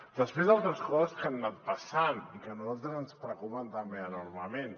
després altres coses que han anat passant i que a nosaltres ens preocupen també enormement